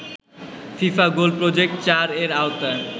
FIFA goal project ৪ এর আওতায়